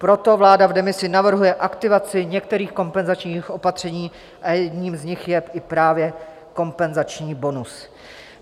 Proto vláda v demisi navrhuje aktivaci některých kompenzačních opatření a jedním z nich je i právě kompenzační bonus.